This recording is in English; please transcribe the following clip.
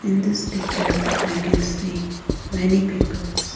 in this picture i can see many peoples.